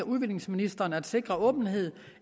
udviklingsministeren at sikre åbenhed